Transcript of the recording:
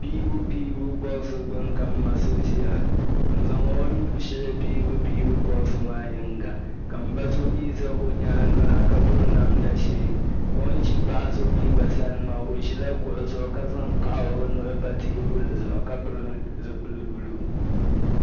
Piibu piibu bɔɣusi gbuni ka m ma so ʒiya n zaŋ o nuu shihi piibupiibu bɔɣusi maa yinga ka m ba so mi za o nyaaŋa ka piri namda ʒee o ni ʒi paɣa so mi gba sani maa o ʒila kuɣu zuɣu ka zaŋ kahi o nuhi pa teebuli zuɣu ka pili zipili buluu.